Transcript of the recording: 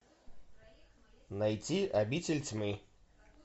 найти обитель тьмы